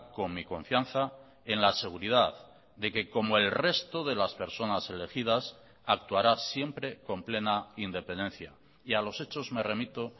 con mi confianza en la seguridad de que como el resto de las personas elegidas actuará siempre con plena independencia y a los hechos me remito